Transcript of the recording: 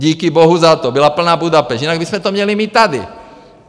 Díky bohu za to, byla plná Budapešť, jinak bychom to měli my tady.